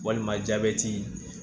Walima jabɛti